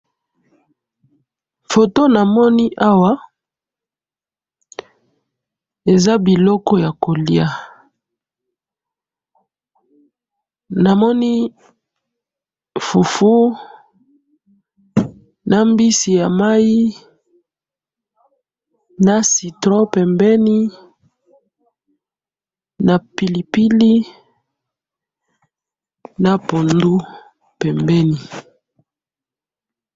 Photo namoni awa eza biloko ya kolia namoni fufu na mbisi ya mayi na citron pembeni na pilipili na pondu pembeni